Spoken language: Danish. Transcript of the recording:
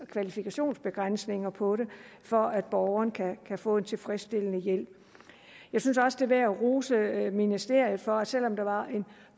kvalifikationsbegrænsninger på det for at borgeren kan få en tilfredsstillende hjælp jeg synes også det er værd at rose ministeriet for at selv om der var en